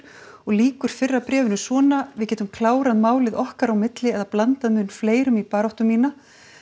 og lýkur fyrra bréfinu svona við getum klárað málið okkar á milli eða blandað mun fleirum í baráttu mína